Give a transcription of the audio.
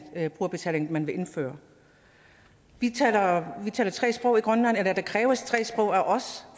brugerbetaling man vil indføre vi taler tre sprog i grønland eller der kræves tre sprog af os